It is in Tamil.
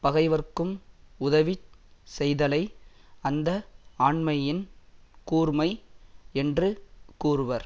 பகைவர்க்கும் உதவிச் செய்தலை அந்த ஆண்மையின் கூர்மை என்று கூறுவர்